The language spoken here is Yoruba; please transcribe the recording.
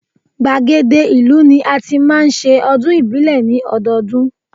Gbàgede ìlú ni a ti máa ń ṣe ọdún ìbílẹ̀ ní ọdọọdún